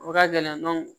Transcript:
O ka gɛlɛn